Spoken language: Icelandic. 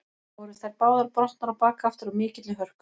Voru þær báðar brotnar á bak aftur af mikilli hörku.